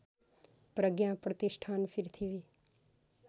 प्रज्ञा Pratishthan पृथ्वी